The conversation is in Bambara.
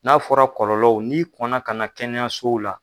N'a fɔra kɔlɔlɔw n'i kɔnna kana na kɛnɛyasow la